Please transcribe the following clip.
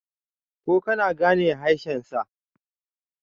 ko kana gane haeshensa!